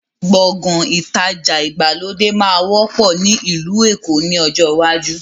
Gbọ̀ngán ìtajà ìgbàlódé máa wọ́pọ̀ ni ilu Èkó ni ọjọ́ iwájú